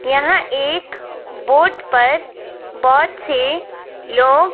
यहां एक बोट पर बहोत से लोग--